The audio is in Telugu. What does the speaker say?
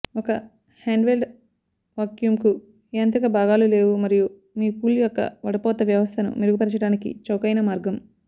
ఒక హ్యాండ్హెల్డ్ వాక్యూమ్కు యాంత్రిక భాగాలు లేవు మరియు మీ పూల్ యొక్క వడపోత వ్యవస్థను మెరుగుపరచడానికి చౌకైన మార్గం